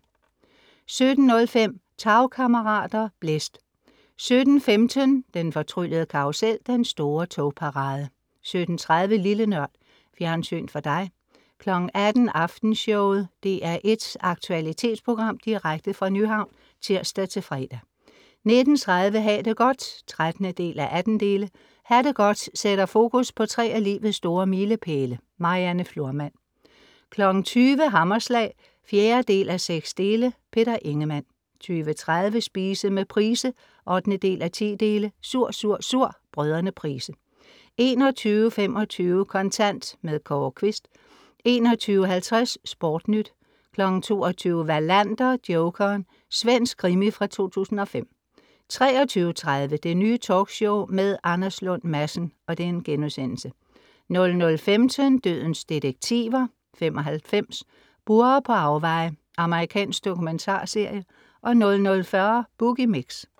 17:05 Tagkammerater. Blæst 17:15 Den fortryllede karrusel Den store togparade 17:30 Lille NØRD. Fjernsyn for dig 18:00 Aftenshowet. DR1s aktualitetsprogram direkte fra Nyhavn.(tirs-fre) 19:30 Ha' det godt (13:18) Ha' det godt sætter fokus på tre af livets store milepæle. Marianne Florman 20:00 Hammerslag (4:6) Peter Ingemann 20:30 Spise med Price (8:10) "Sur, sur, sur" Brødrene Price 21:25 Kontant. Kåre Quist 21:50 SportNyt 22:00 Wallander: Jokeren. Svensk krimi fra 2005 23:30 Det Nye Talkshow med Anders Lund Madsen* 00:15 Dødens detektiver (95) "Burrer på afveje" Amerikansk dokumentarserie 00:40 Boogie Mix